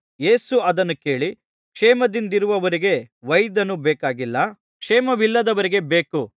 ಯೇಸು ಅದನ್ನು ಕೇಳಿ ಕ್ಷೇಮದಿಂದಿರುವವರಿಗೆ ವೈದ್ಯನು ಬೇಕಾಗಿಲ್ಲ ಕ್ಷೇಮವಿಲ್ಲದವರಿಗೆ ಬೇಕು